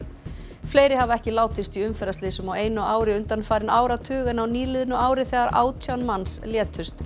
fleiri hafa ekki látist í umferðarslysum á einu ári undanfarinn áratug en á nýliðnu ári þegar átján manns létust